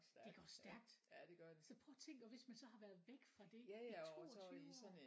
Det går stærkt! Så prøv at tænk og hvis man så har været væk fra det i 22 år